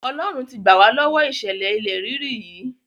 Ọlọ́run ti gbà wá lọ́wọ ìṣẹ̀lẹ̀ ilẹ̀ rírì yìí.